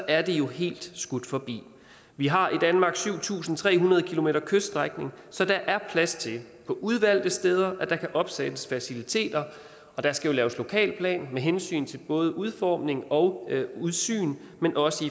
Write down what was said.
er det jo helt skudt forbi vi har i danmark syv tusind tre hundrede km kyststrækning så der er plads til på udvalgte steder at der kan opsættes faciliteter og der skal jo laves lokalplan med hensyn til både udformning og udsyn men også